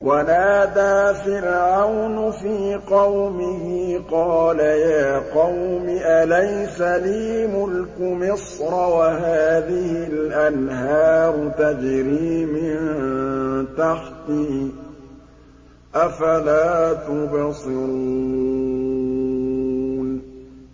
وَنَادَىٰ فِرْعَوْنُ فِي قَوْمِهِ قَالَ يَا قَوْمِ أَلَيْسَ لِي مُلْكُ مِصْرَ وَهَٰذِهِ الْأَنْهَارُ تَجْرِي مِن تَحْتِي ۖ أَفَلَا تُبْصِرُونَ